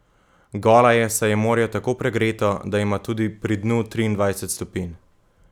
Gola je, saj je morje tako pregreto, da ima tudi pri dnu triindvajset stopinj.